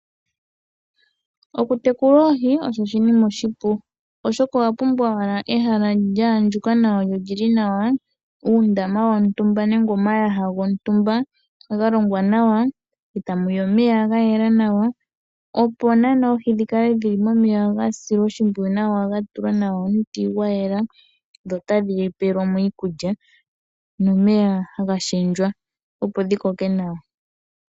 Okutekula oohi osho oshinima oshipu, oshoka owa pumbwa owala ehala lya andjuka nawa lyo oli li nawa, uundama wontumba nenge omayaha gontumba ga longwa nawa e ta mu yi omeya ga yela nawa, opo naanaa oohi dhi kale dhi li momeya ga silwa oshimpwiyu nawa , ga tulwa nawa omuti gwa yela dho tadhi etelwa mo iikulya nomeya haga shendjwa opo dhi koke nawa.